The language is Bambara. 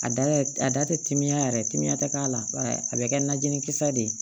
A da yɛrɛ a da tɛ timiya yɛrɛ timiya tɛ k'a la a bɛ kɛ najini kisɛ de ye